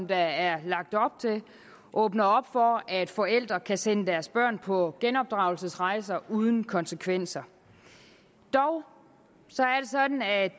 der er lagt op til åbner for at forældre kan sende deres børn på genopdragelsesrejser uden konsekvenser dog